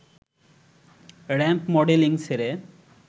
ramp modelling ছেড়ে